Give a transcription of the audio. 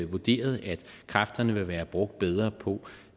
vurderet at kræfterne vil være brugt bedre på